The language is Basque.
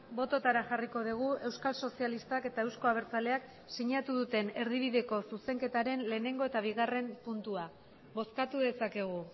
bototara jarriko dugu euskal sozialistak eta euzko abertzaleak sinatu duten erdibideko zuzenketaren lehenengo eta bigarren puntua bozkatu dezakegu